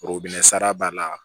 sara b'a la